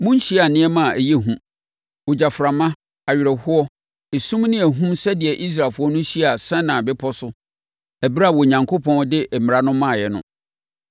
Monhyiaa nneɛma a ɛyɛ hu, ogyaframa, awerɛhoɔ, esum ne ahum sɛdeɛ Israelfoɔ no hyiaa Sinai Bepɔ no so ɛberɛ a Onyankopɔn de ne mmara no maeɛ no.